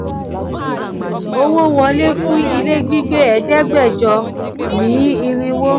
owó wọlé fún ilé gbígbé ẹ̀ẹ́dẹ́gbẹ́jọ míì irinwó.